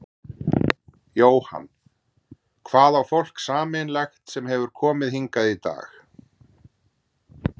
Jóhann: Hvað á fólk sameiginlegt sem að hefur komið hingað í dag?